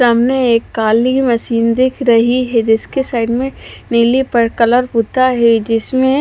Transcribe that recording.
सामने एक काली मशीन दिख रही है जिसके साइड मे नीले कलर पुता है जिसमे--